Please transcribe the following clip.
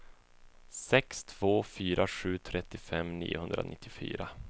sex två fyra sju trettiofem niohundranittiofyra